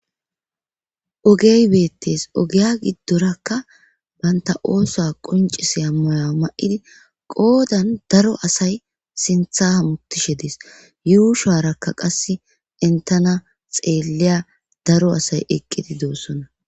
Ogey beettees ogiya giddorakka bantta oosa qonccisiya mayo ma77idi qoodan daro asay sintha hamuttishe dees yuusharakka qasse enttana xeelliya daro asay eqqidi doosona.